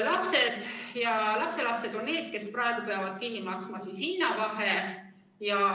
Lapsed ja lapselapsed on need, kes praegu peavad kinni maksma hinnavahe.